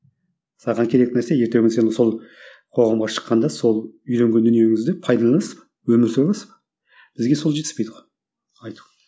саған керек нәрсе ертеңгі күні сен сол қоғамға шыққанда сол үйренген дүниеңізді пайдаланасыз ба өмір сүре аласыз ба бізге сол жетіспейді ғой айту